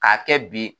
K'a kɛ bi